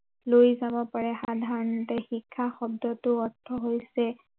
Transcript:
লৈ যাব পাৰে সাধাৰণতে শিক্ষা শব্দটোৰ অৰ্থ হৈছে